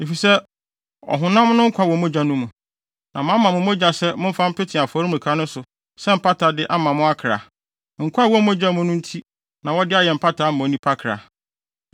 Efisɛ ɔhonam no nkwa wɔ mogya no mu, na mama mo mogya sɛ momfa mpete afɔremuka no so sɛ mpatade mma mo akra; nkwa a ɛwɔ mogya mu nti na wɔde yɛ mpatade ma onipa kra.